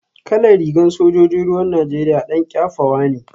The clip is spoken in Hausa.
Kalar rigar sojojin ruwan Najeriya dan kyafawa ne